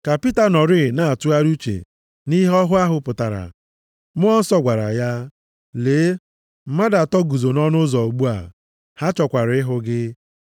Ka Pita nọrịị na-atụgharị uche nʼihe ọhụ ahụ pụtara, Mmụọ Nsọ gwara ya, “Lee, mmadụ atọ guzo nʼọnụ ụzọ ugbu a. Ha chọkwara ịhụ gị.